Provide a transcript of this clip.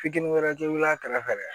Fitini wɛrɛ te wuli a kɛrɛfɛ